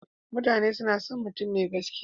Mutane suna son mutum mai gaskiya.